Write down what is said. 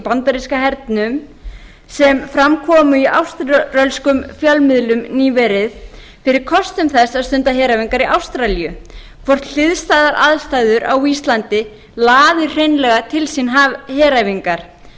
bandaríska hernum sem fram komu í áströlskum fjölmiðlum nýverið fyrir kostum þess að stunda heræfingar í ástralíu hvort hliðstæðar aðstæður á íslandi laði hreinlega til sín heræfingar